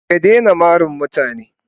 Ka daina mari mutane.